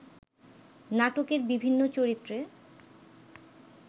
নাটকের বিভিন্ন চরিত্রে